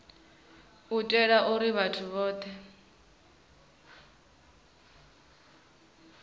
u itela uri vhathu vhothe